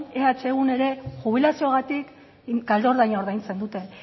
ehun ere jubilazioagatik kalte ordaina ordaintzen dute